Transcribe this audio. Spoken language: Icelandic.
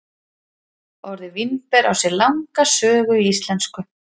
Orðið vínber á sér langa sögu í íslensku.